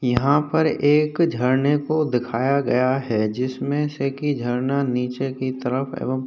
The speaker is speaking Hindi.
यहाँ पर एक झरने को दिखाया गया है जिसमें से कि झरना नीचे की तरफ एवं --